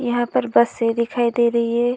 यहाँ पर बसें दिखाई दे रही हैं।